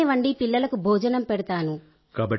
నేనే వండి పిల్లలకు భోజనం పెడతాను